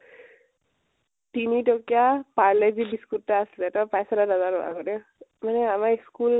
তিনি টকীয়া parle-g biscuit এটা আছিলে, তই পাইছ নে নাজানো আৰু দেই মানে আমাৰ school